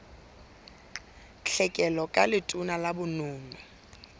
tlhekelo ka letona la bonono